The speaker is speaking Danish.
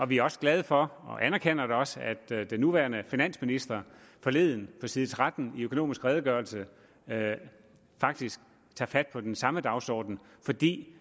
vi er også glade for og anerkender da også at den nuværende finansminister forleden på side tretten i økonomisk redegørelse faktisk tager fat på den samme dagsorden fordi